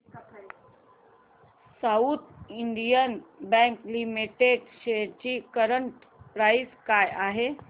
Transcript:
south Indian Bank Limited shares ची current price काय आहे